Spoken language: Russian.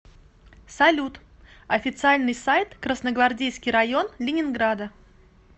салют официальный сайт красногвардейский район ленинграда